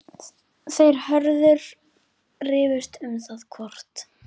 Þeir Hörður rifust um það hvort